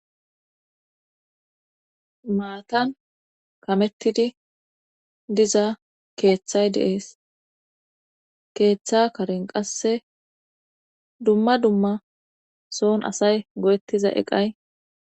maatan kamettidi diza keeththay deees keeththa karen qasse dumma dumma soon asay go7ettiza eqay